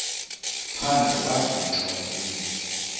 phandle wagixa ukulila